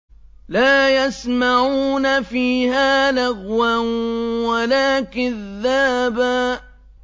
لَّا يَسْمَعُونَ فِيهَا لَغْوًا وَلَا كِذَّابًا